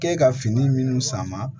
K'e ka fini minnu sama